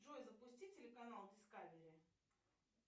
джой запусти телеканал дискавери